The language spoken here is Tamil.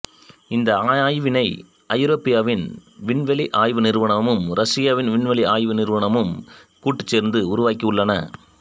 இந்த ஆய்வினை ஐரோப்பாவின் விண்வெளி ஆய்வு நிறுவனமும் ரஷியாவின் விண்வெளி ஆய்வு நிறுவனமும் கூட்டு சேர்ந்து உருவாக்கியுள்ளன